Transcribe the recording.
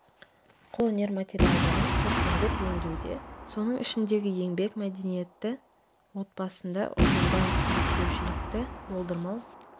қолөнер материалдарын көркемдеп өңдеуде соның ішіндегі еңбек мәдениеті отбасында ұжымда келіспеушілікті болдырмау